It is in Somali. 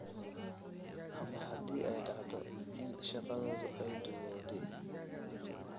Ama haddii ay dhacdo in shaqadoodu ay duugowday.